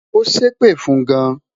o sepe fun gan